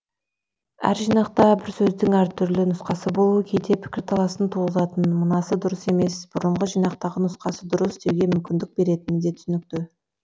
әр жинақта бір сөздің әр түрлі нұсқасы болуы кейде пікірталасын туғызатыны мынасы дұрыс емес бұрынғы жинақтағы нұсқасы дұрыс деуге мүмкіндік беретіні де түсінікті